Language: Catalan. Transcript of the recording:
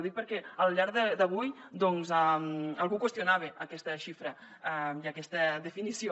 ho dic perquè al llarg d’avui doncs algú qüestionava aquesta xifra i aquesta definició